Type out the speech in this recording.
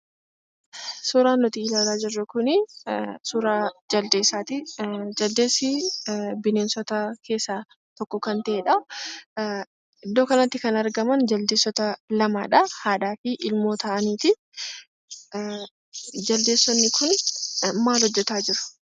suuraan nuti ilaalaa jirru kunii suuraa Jaldeessati, jaldeessi bineensota keessaa tokko kan ta'edha. iddoo kanatti kan argaman Jaldeessota lamadhaa; haadhaafi ilmoo ta'anitii Jaldeessonni kun maal hojjataa jiru?